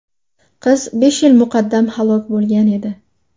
Qiz besh yil muqaddam halok bo‘lgan edi.